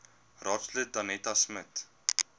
raadslid danetta smit